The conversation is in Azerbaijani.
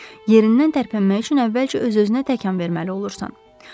Yerindən tərpənmək üçün əvvəlcə öz-özünə təkan verməli olursan.